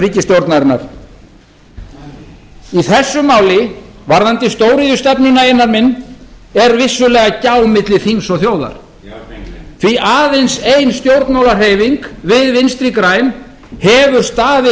ríkisstjórnarinnar í þessu máli varðandi stóriðjustefnuna einar minn er vissulega gjá milli þings og þjóðar því aðeins ein stjórnmálahreyfing við vinstri græn höfum staðið